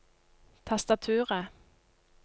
tastaturet